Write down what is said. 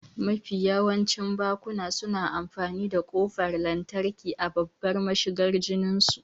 Mafi yawancin bakuna suna amfani da ƙofar lantarki a babbar mashigar gininsu.